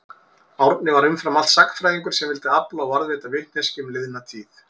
Árni var umfram allt sagnfræðingur sem vildi afla og varðveita vitneskju um liðna tíð.